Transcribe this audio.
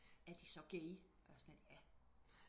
er de så gay og jeg var sådan lidt ja